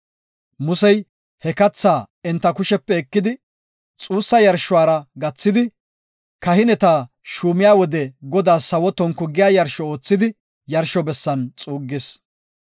Musey he kathaa enta kushepe ekidi, xuussa yarshuwara gathidi, kahineta shuumiya wode Godaas sawo tonku giya yarsho oothidi yarsho bessan xuuggis.